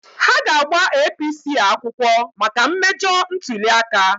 Ha ga-agba APC akwụkwọ maka mmejọ ntuli aka.